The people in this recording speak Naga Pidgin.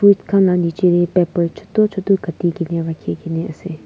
fruit khan la niche te paper chutu chutu kati kene rakhi kene ase.